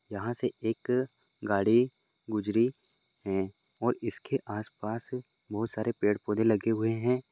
यहाँ से एक गाड़ी गुजरी है और इसके आसपास बहुत सारे पेड़ पौधे लगे हुए हैं।